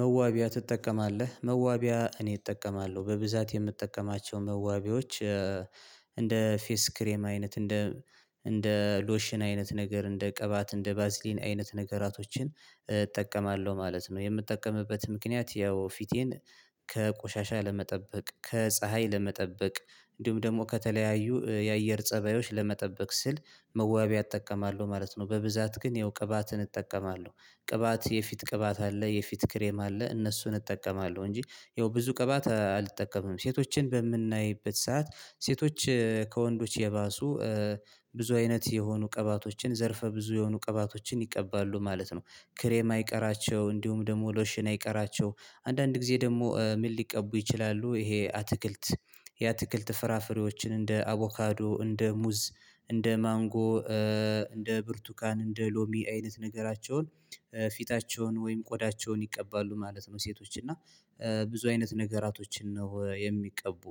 መዋቢያ ትጠቀማለህ መዋቢያ እኔ እጠቀማለሁ በብዛት የምጠቀማቸው መዋቢያዎች እንደ ፌስ ክሬም አይነት እንደ እንደ ሎሽን አይነት ነገር እንደ ቅባት እንደ ባዝሊን አይነት ነገራቶችን እጠቀማለሁ ማለት ነው። የምጠቀምበት ምክንያት ያው ፊቴን ከቆሻሻ ለመጠበቅ ከፀሀይ ለመጠበቅ እንዲሁም ደግሞ ከተለያዩ የአየር ፀባዮች ለመጠበቅ ስል መዋቢያ እጠቀማለሁ ማለት ነው። በብዛት ግን ያው ቅባትን እጠቀማለሁ ቅባት የፊት ቅባት አለ የፊት ክሬም አለ እነሱን እጠቀማለሁ እንጂ ያው ብዙ ቅባት አልጠቀምም ሴቶችን በምናይበት ሰዓት ሴቶች ከወንዶች የባሱ ብዙ አይነት የሆኑ ቀባቶችን ዘርፈ ብዙ የሆኑ ቀባቶችን ይቀባሉ ማለት ነው። ክሬም አይቀራቸው እንዲሁም ደግሞ ሎሽን አይቀራቸው አንዳንድ ጊዜ ደግሞ ምን ሊቀቡ ይችላሉ ይሄ አትክልት የአትክልት ፍራፍሬዎችን እንደ አቮካዶ እንደ ሙዝ እንደ ማንጎ እንደ ብርቱካን እንደ ሎሚ አይነት ነገራቸውን ፊታቸውን ወይም ቆዳቸውን ይቀባሉ ማለት ነው። ሴቶች እና ብዙ አይነት ነገራቶችን ነው የሚቀቡ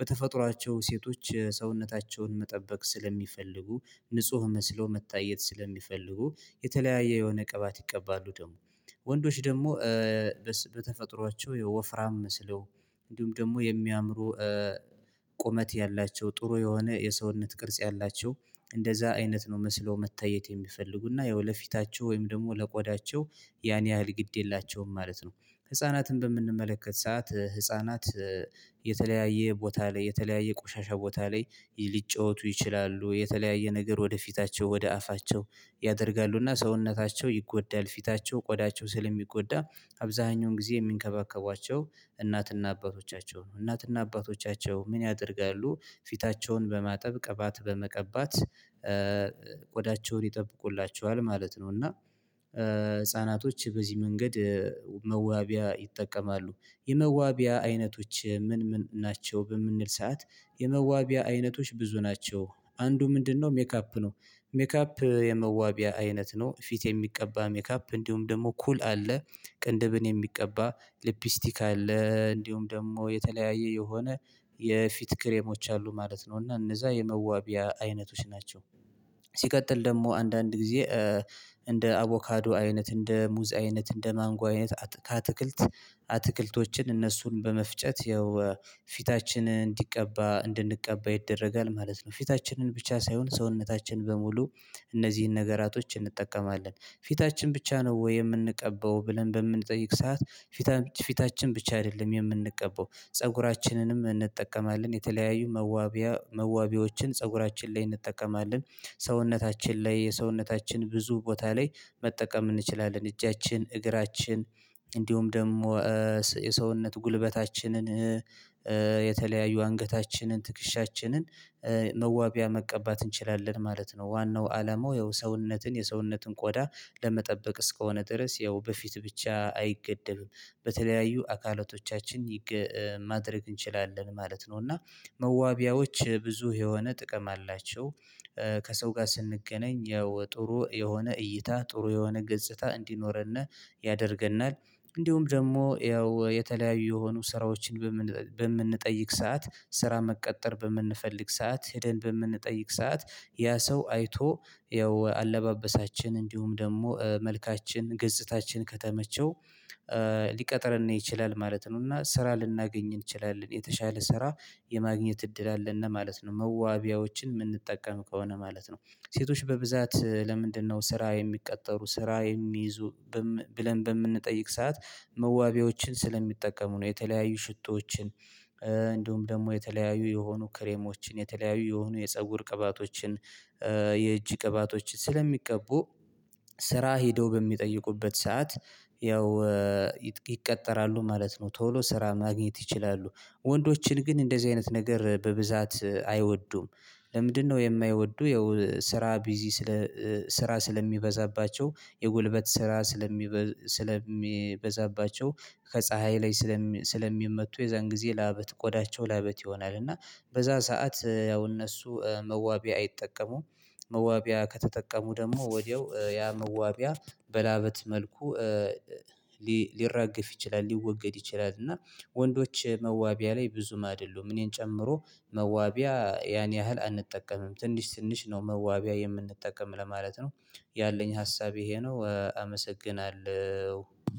በተፈጥሯቸው ሴቶች ሰውነታቸውን መጠበቅ ስለሚፈልጉ ንጹህ መስሎ መታየት ስለሚፈልጉ የተለያየ የሆነ ቀባት ይቀባሉ ደግሞ ወንዶች ደግሞ በተፈጥሯቸው ወፍራም መስለው እንዲሁም ደግሞ የሚያምሩ ቁመት ያላቸው ጥሩ የሆነ የሰውነት ቅርጽ ያላቸው እንደዛ አይነት ነው መስለው መታየት የሚፈልጉ እና ያው ለፊታቸው ወይም ደግሞ ለቆዳቸው ያን ያህል ግድ የላቸውም ማለት ነው። ህፃናትን በምንመለከት ሰዓት ህፃናት የተለያየ ቦታ ላይ የተለያየ ቆሻሻ ቦታ ላይ ሊጫወቱ ይችላሉ የተለያየ ነገር ወደ ፊታቸው ወደ አፋቸው ያደርጋሉ እና ሰውነታቸው ይጎዳል ፊታቸው ቆዳቸው ስለሚጎዳ አብዛኛውን ጊዜ የሚንከባከቧቸው እናት እና አባቶቻቸው ነው እናት እና አባቶቻቸው ምን ያደርጋሉ ፊታቸውን በማጠብ ቅባት በመቀባት ቆዳቸውን ይጠብቁላቸዋል ማለት ነው። እና ህፃናቶች በዚህ መንገድ መዋቢያ ይጠቀማሉ የመዋቢያ አይነቶች ምን ምን ናቸው በምንል ሰዓት የመዋቢያ አይነቶች ብዙ ናቸው። አንዱ ምንድነው ሜክ አፕ ነው? ሜክአፕ የመዋቢያ አይነት ነው ፊት የሚቀባ ሜክአፕ እንዲሁም ደግሞ ኩል አለ ቅንድብን የሚቀባ ሊፕስቲክ አለ እንዲሁም ደግሞ የተለያየ የሆነ የፊት ክሬሞች አሉ ማለት ነው። እና እነዛ የመዋቢያ አይነቶች ናቸው ሲቀጥል ደግሞ አንዳንድ ጊዜ እንደ አቮካዶ አይነት እንደ ሙዝ አይነት እንደ ማንጓ አይነት ከአትክልት አትክልቶችን እነሱን በመፍጨት ያው ፊታችን እንዲቀባ እንድንቀባ ይደረጋል ማለት ነው። ፊታችንን ብቻ ሳይሆን ሰውነታችን በሙሉ እነዚህን ነገራቶች እንጠቀማለን ፊታችን ብቻ ነው ወይ የምንቀባው ብለን በምንጠይቅ ሰዓት ፊታችን ፊታችን ብቻ አይደለም የምንቀባው ፀጉራችንንም እንጠቀማለን የተለያዩ መዋቢያ መዋቢያዎችን ፀጉራችን ላይ እንጠቀማለን። ሰውነታችን ላይ የሰውነታችን ብዙ ቦታ ላይ መጠቀም እንችላለን እጃችን እግራችን እንዲሁም ደግሞ የሰውነት ጉልበታችንን የተለያዩ አንገታችንን ትክሻችንን መዋቢያ መቀባት እንችላለን ማለት ነው። ዋናው አላማው ያው ሰውነትን የሰውነትን ቆዳ ለመጠበቅ እስከሆነ ድረስ ያው በፊት ብቻ አይገደብም በተለያዩ አካላቶቻችን ማድረግ እንችላለን ማለት ነው። እና መዋቢያዎች ብዙ የሆነ ጥቅም አላቸው ከሰው ጋር ስንገናኝ ያው ጥሩ የሆነ እይታ ጥሩ የሆነ ገጽታ እንዲኖረን ያደርገናል። እንዲሁም ደግሞ ያው የተለያዩ የሆኑ ስራዎችን በምንጠይቅ ሰዓት ስራ መቀጠር በምንፈልግ ሰዓት ሄደን በምንጠይቅ ሰዓት ያ ሰው አይቶ ያው አለባበሳችን እንዲሁም ደግሞ መልካችን ገጽታችን ከተመቸው ሊቀጥረን ይችላል ማለት ነው። እና ስራ ልናገኝ እንችላለን የተሻለ ስራ የማግኘት እድል አለን ለማለት ነው መዋቢያዎችን የምንጠቀም ከሆነ ማለት ነው። ሴቶች በብዛት ለምንድነው ስራ የሚቀጠሩ ስራ የሚይዙ ብለን በምንጠይቅ ሰዓት መዋቢያዎችን ስለሚጠቀሙ ነው። የተለያዩ ሽቶዎችን እንዲሁም ደግሞ የተለያዩ የሆኑ ክሬሞችን የተለያዩ የሆኑ የፀጉር ቅባቶችን የእጅ ቅባቶች ስለሚቀቡ ስራ ሄደው በሚጠይቁበት ሰዓት ያው ይቀጠራሉ ማለት ነው። ቶሎ ስራ ማግኘት ይችላሉ። ወንዶችን ግን እንደዚህ አይነት ነገር በብዛት አይወዱም። ለምንድነው የማይወዱ ያው ስራ ቢዚ ስለ ስራ ስለሚበዛባቸው የጉልበት ስራ ስለሚበዛባቸው ከፀሀይ ላይ ስለሚመቱ የዛን ጊዜ ለአበት ቆዳቸው ለአበት ይሆናል እና በዛ ሰዓት ያው እነሱ መዋቢያ አይጠቀሙም። መዋቢያ ከተጠቀሙ ደግሞ ወዲያው ያ መዋቢያ በላበት መልኩ ሊራገፍ ይችላል ሊወገድ ይችላል እና ወንዶች መዋቢያ ላይ ብዙም አይደሉም እኔን ጨምሮ መዋቢያ ያን ያህል አንጠቀምም ትንሽ ትንሽ ነው መዋቢያ የምንጠቀም ለማለት ነው። ያለኝ ሀሳብ ይሄ ነው። አመሰግናለሁ